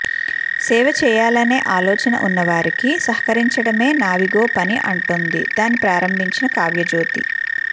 సేవ చేయాలనే ఆలోచన ఉన్నవారికి సహకరించడమే నావిగో పని అంటోంది దాన్ని ప్రారంభించిన కావ్యజ్యోతి